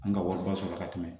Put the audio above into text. An ka wariba sɔrɔla ka tɛmɛ